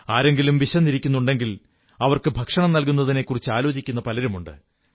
ആരെങ്കിലും വിശന്നിരിക്കുന്നുണ്ടെങ്കിൽ അവർക്ക് ഭക്ഷണം നല്കുന്നതിനെക്കുറിച്ചാലോചിക്കുന്ന പലരുമുണ്ട്